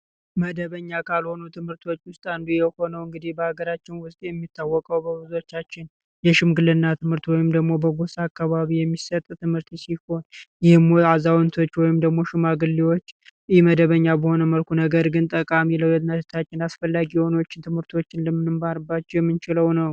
መደበኛ ካልሆኑ ትምህርቶች አንዱ የሆነው እንግዲህ በአገራችን የሚታወቀው በብዞዎች የሽምግልና ትምህርት ወይም ደሞ በጎሳ አካባቢ የሚሰጥ ትምህርት ሲሆን የሙያው ወይም ደሞ ሽማግሌዎች መደበኛ በሆነ መልኩ ነገር ግን ጠቃሚ አስፈላጊ የሆኑ ትምህርቶችን ነው።